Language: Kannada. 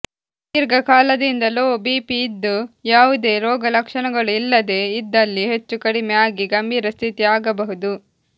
ದೀರ್ಘಕಾಲದಿಂದ ಲೋ ಬಿಪಿ ಇದ್ದು ಯಾವುದೇ ರೋಗ ಲಕ್ಷಣಗಳು ಇಲ್ಲದೆ ಇದ್ದಲ್ಲಿ ಹೆಚ್ಚು ಕಡಿಮೆ ಆಗಿ ಗಂಭೀರ ಸ್ಥಿತಿ ಆಗಬಹುದು